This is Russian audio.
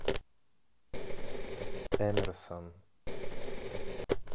эмерсон